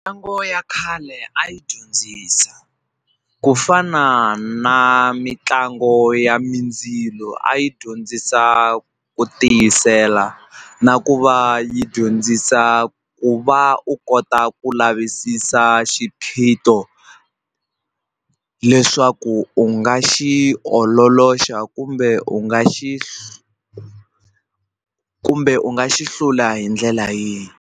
Ntlangu ya khale a yi dyondzisa ku fana na mitlango ya mindzilo a yi dyondzisa ku tiyisela na ku va yi dyondzisa ku va u kota ku lavisisa xiphiqo leswaku u nga xi ololoxa kumbe u nga xi kumbe u nga xi hlula hi ndlela yihi.